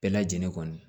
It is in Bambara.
Bɛɛ lajɛlen kɔni